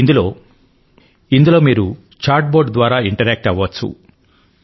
ఇందులో మీరు chat bot ద్వారా ఇంటరాక్ట్ అవ్వవచ్చు